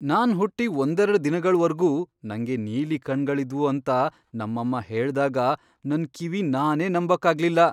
ನಾನ್ ಹುಟ್ಟಿ ಒಂದೆರಡ್ ದಿನಗಳ್ವರ್ಗೂ ನಂಗೆ ನೀಲಿ ಕಣ್ಗಳಿದ್ವು ಅಂತ ನಮ್ಮಮ್ಮ ಹೇಳ್ದಾಗ ನನ್ ಕಿವಿ ನಾನೇ ನಂಬಕ್ಕಾಗ್ಲಿಲ್ಲ.